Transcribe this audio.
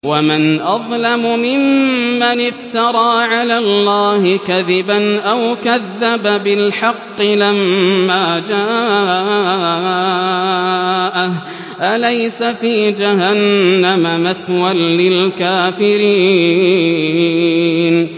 وَمَنْ أَظْلَمُ مِمَّنِ افْتَرَىٰ عَلَى اللَّهِ كَذِبًا أَوْ كَذَّبَ بِالْحَقِّ لَمَّا جَاءَهُ ۚ أَلَيْسَ فِي جَهَنَّمَ مَثْوًى لِّلْكَافِرِينَ